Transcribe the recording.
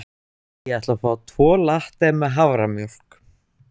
Ég ætla að fá tvo latte með haframjólk.